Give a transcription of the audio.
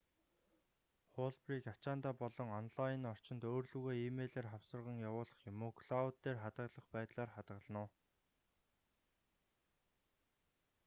хуулбарыг ачаандаа болон онлайн орчинд өөр лүүгээ э-мэйлээр хавсарган явуулах юм уу клоуд дээр хадгалах байдлаар хадгална уу